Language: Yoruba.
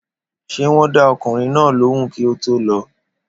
Ṣé wón dá ọkùnrin náà lóhùn kí o to lọ